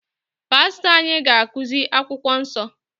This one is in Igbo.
Pastọ anyị ga-akụzi akwụkwọ nsọ